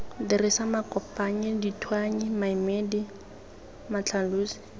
dirisa makopanyi dithuanyi maemedi matlhalosi